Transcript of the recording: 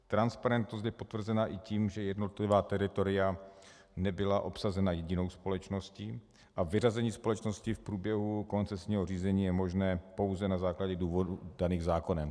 Transparentnost je potvrzena i tím, že jednotlivá teritoria nebyla obsazena jedinou společností a vyřazení společnosti v průběhu koncesního řízení je možné pouze na základě důvodů daných zákonem.